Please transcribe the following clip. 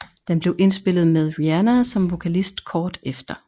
Den blev indspillet med Rihanna som vokalist kort efter